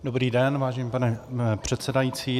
Dobrý den, vážený pane předsedající.